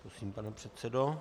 Prosím, pane předsedo.